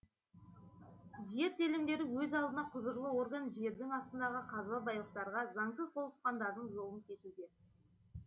жер телімдері өз алдына құзырлы орган жердің астындағы қазба байлықтарға заңсыз қол сұққандардың жолын кесуде